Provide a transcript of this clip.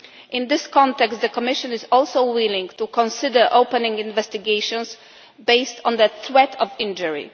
In this context, the Commission is also willing to consider opening investigations based on the threat of injury.